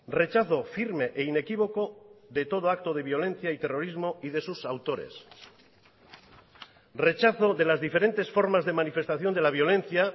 rechazo firme e inequívoco de todo acto de violencia y terrorismo y de sus autores rechazo de las diferentes formas de manifestación de la violencia